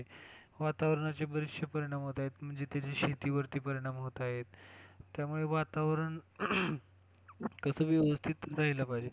वातावरणाचे बरेचशे परिणाम होत आहेत म्हणजे त्याचे शेती वरती परिणाम होत आहेत त्यामुळे वातावरण कसंय व्यवस्थित राहिला पाहिजे.